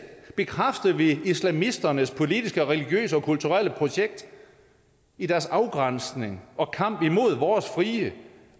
bekræfter vi islamisternes politiske og religiøse og kulturelle projekt i deres afgrænsning og kamp imod vores frie